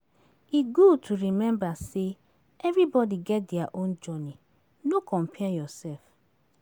E good to remember sey everybody get dia own journey; no compare yourself.